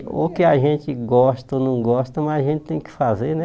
Ou que a gente gosta ou não gosta, mas a gente tem que fazer, né?